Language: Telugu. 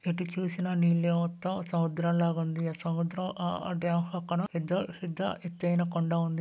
ప్రతి చూసిన నిలబడతా సౌభాగ్య సముద్ర అడ్డంకులు ఎదురు సిద్ధమైన కొండారెడ్డి--